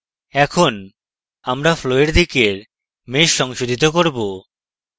এখন আমরা flow এর দিকের mesh শোধিত করব